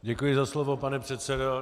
Děkuji za slovo, pane předsedo.